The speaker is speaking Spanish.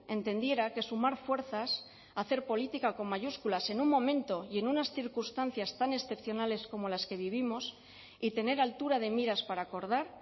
entendiera que sumar fuerzas hacer política con mayúsculas en un momento y en unas circunstancias tan excepcionales como las que vivimos y tener altura de miras para acordar